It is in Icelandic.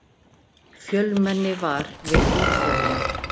Fjölmenni var við útförina